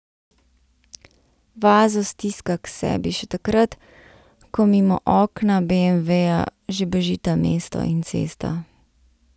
Vazo stiska k sebi še takrat, ko mimo okna beemveja že bežita mesto in cesta.